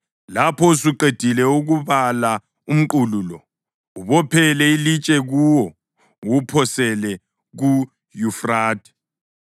Lapho usuqedile ukubala umqulu lo, ubophele ilitshe kuwo uwuphosele kuYufrathe,